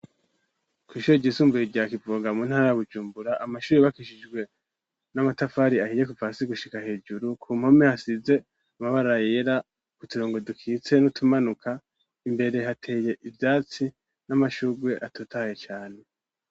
Kw'ishure ry'isumbuye rya Kivoga mu ntara ya Bujumbura, amashure y'ubakishijwe n'amatafari ahiye kuva hasi gushika hejuru, ku mpome hasize amabara yera, uturongo dukitse n'utumanuka, imbere hateye ivyatsi n'amashurwe atotahaye cane .